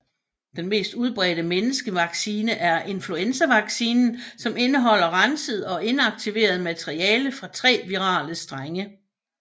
Den mest udbredte menneskevaccine er influenzavaccinen som indeholder renset og inaktiveret materiale fra tre virale strenge